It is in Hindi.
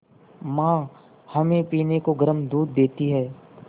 माँ हमें पीने को गर्म दूध देती हैं